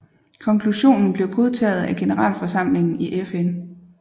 Konklusionen blev godtaget af Generalforsamlingen i FN